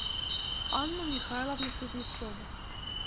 анну михайловну кузнецову